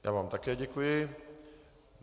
Já vám také děkuji.